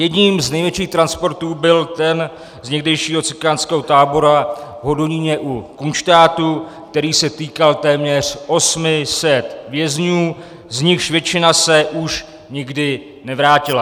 Jedním z největších transportů byl ten z někdejšího cikánského tábora v Hodoníně u Kunštátu, který se týkal téměř 800 vězňů, z nichž většina se už nikdy nevrátila.